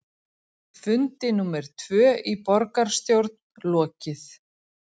Fundi númer tvö í borgarstjórn lokið